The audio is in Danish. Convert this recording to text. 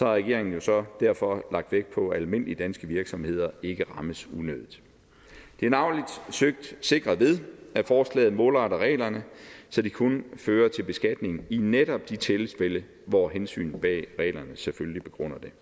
regeringen jo så derfor lagt vægt på at almindelige danske virksomheder ikke rammes unødigt det er navnlig søgt sikret ved at forslaget målretter reglerne så de kun fører til beskatning i netop de tilfælde hvor hensynet bag reglerne selvfølgelig begrunder det